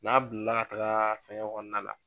Naa donna kaa fɛ kɔnɔna la.